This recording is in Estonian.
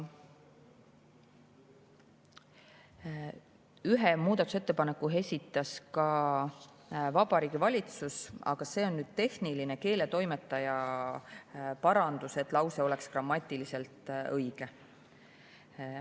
Ühe muudatusettepaneku esitas ka Vabariigi Valitsus, aga see on tehniline, keeletoimetaja parandus, et lause oleks grammatiliselt õige.